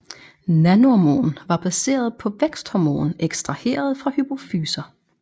Nanormon var baseret på væksthormon ekstraheret fra hypofyser